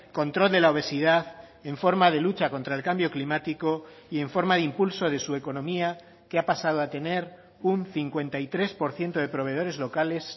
control de la obesidad en forma de lucha contra el cambio climático y en forma de impulso de su economía que ha pasado a tener un cincuenta y tres por ciento de proveedores locales